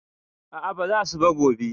A a, ba za su ba gobe.